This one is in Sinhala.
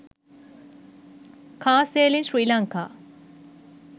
car sale in sri lanka